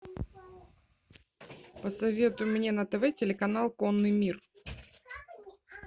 посоветуй мне на тв телеканал конный мир